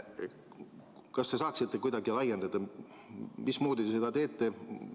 Kas te saaksite kuidagi laiendada, mismoodi te seda teete?